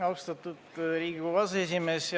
Austatud Riigikogu aseesimees!